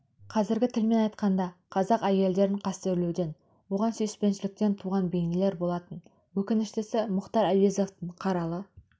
қазіргі тілмен айтқанда қазақ әйелдерін қастерлеуден оған сүйіспеншіліктен туған бейнелер болатын өкініштісі мұхтар әуезовтің қаралы